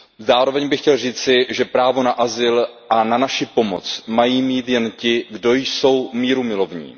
Zároveň bych chtěl říci, že právo na azyl a na naši pomoc mají mít jen ti, kdo jsou mírumilovní.